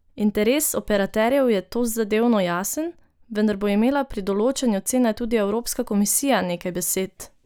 Interes operaterjev je tozadevno jasen, vendar bo imela pri določanju cene tudi evropska komisija nekaj besed!